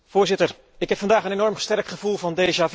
Voorzitter, ik heb vandaag een enorm sterk gevoel van